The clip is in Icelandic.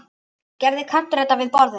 Gerði Kantar þetta við borðið?